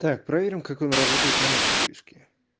так проверим как он работает на этом движке